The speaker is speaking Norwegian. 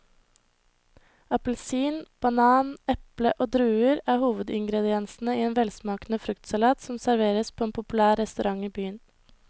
Appelsin, banan, eple og druer er hovedingredienser i en velsmakende fruktsalat som serveres på en populær restaurant i byen.